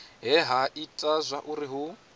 he ha ita zwauri hu